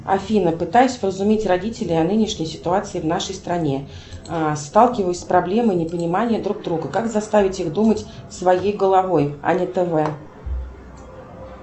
афина пытаюсь вразумить родителей о нынешней ситуации в нашей стране сталкиваюсь с проблемой непонимания друг друга как заставить их думать своей головой а не тв